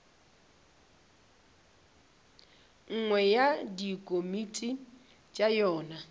nngwe ya dikomiti tša yona